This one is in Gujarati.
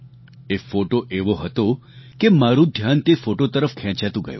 એ ફોટો એવો હતો કે મારું ધ્યાન તે ફોટો તરફ ખેંચાતું ગયું